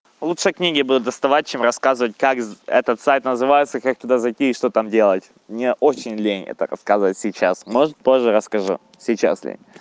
лучшие книги буду доставать чем рассказывать как этот сайт называется как туда зайти что там делать мне очень лень это рассказывать сейчас может позже расскажу сейчас